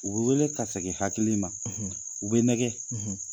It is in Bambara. U bɛ wele ka segin hakili ma u bɛ nɛgɛ